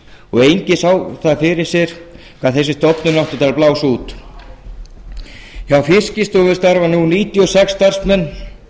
og enginn sá fyrir sér hvað þessi stofnun átti eftir að blása út hjá fiskistofu starfa nú níutíu og sex starfsmenn